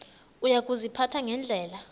uya kuziphatha ngendlela